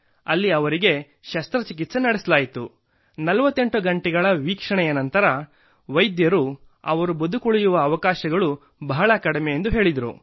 ಅಲ್ಲಿ ಅವರಿಗೆ ಶಸ್ತ್ರಚಿಕಿತ್ಸೆ ನಡೆಸಲಾಯಿತು 48 ಗಂಟೆಗಳ ವೀಕ್ಷಣೆಯ ನಂತರ ವೈದ್ಯರು ಅವರು ಬದುಕುಳಿಯುವ ಅವಕಾಶಗಳು ಬಹಳ ಕಡಿಮೆ ಎಂದು ಹೇಳಿದರು